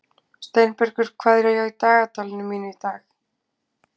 Steinbergur, hvað er í dagatalinu mínu í dag?